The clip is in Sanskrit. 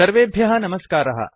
सर्वेभ्यः नमस्कारः